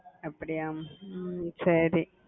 அப்பிடியா ஹம் சரி